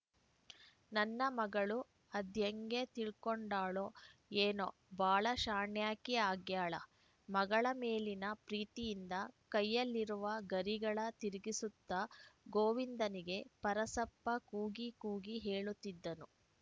ನನ್ನ ಮಗಳು ಅದ್ಹೇಗೆತಿಳ್ಕೊಂಡಾಳೋ ಏನೋ ಬಾಳ ಶಾಣ್ಯಾಕಿ ಆಗ್ಯಾಳ ಮಗಳ ಮೇಲಿನ ಪ್ರೀತಿಯಿಂದ ಕೈಯಲ್ಲಿರುವ ಗರಿಗಳ ತಿರುಗಿಸುತ್ತಾ ಗೋವಿಂದನಿಗೆ ಪರಸಪ್ಪ ಕೂಗಿ ಕೂಗಿ ಹೇಳುತ್ತಿದ್ದನು